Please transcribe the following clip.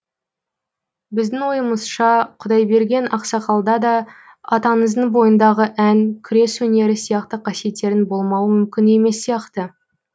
біздің ойымызша құдайберген ақсақалда да атаңыздың бойындағы ән күрес өнері сияқты қасиеттерінің болмауы мүмкін емес сияқты